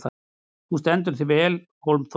Þú stendur þig vel, Hólmþór!